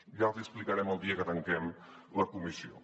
ja els hi explicarem el dia que tanquem la comissió